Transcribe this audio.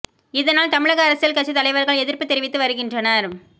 இதனால் தமிழக அரசியல் கட்சி தலைவர்கள் எதிர்ப்பு தெரிவித்து வருகின்றனர்